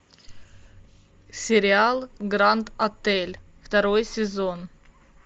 сериал гранд отель второй сезон